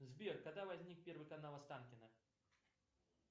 сбер когда возник первый канал останкино